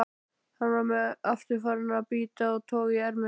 Hann var aftur farinn að bíta og toga í ermina.